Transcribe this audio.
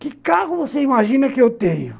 Que carro você imagina que eu tenho?